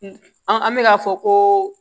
an bɛ k'a fɔ ko